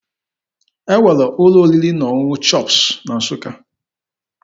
E nwere ụlọ oriri na ọṅụṅụ CHOPS na Nsụka.